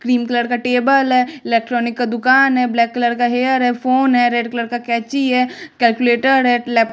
cream colour का table है electronic का दुकान है ब्लैक कलर का हेयर है फोन है रेड कलर का कैंची है कैलकुलेटर है लैप--